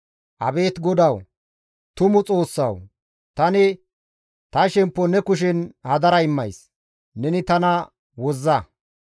Abeet GODAWU tumu Xoossawu! tani ta shemppo ne kushen hadara immays; neni tana wozza.